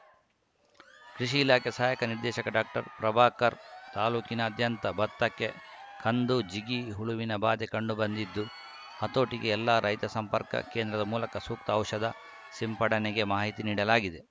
ಕೃಷಿ ಇಲಾಖೆ ಸಹಾಯಕ ನಿರ್ದೇಶಕ ಡಾಕ್ಟರ್ಪ್ರಭಾಕರ್‌ ತಾಲೂಕಿನಾದ್ಯಂತ ಬತ್ತಕ್ಕೆ ಕಂದು ಜಿಗಿ ಹುಳುವಿನ ಬಾಧೆ ಕಂಡುಬಂದಿದ್ದು ಹತೋಟಿಗೆ ಎಲ್ಲ ರೈತ ಸಂಪರ್ಕ ಕೇಂದ್ರದ ಮೂಲಕ ಸೂಕ್ತ ಔಷಧ ಸಿಂಪಡಣೆಗೆ ಮಾಹಿತಿಯನ್ನು ನೀಡಲಾಗಿದೆ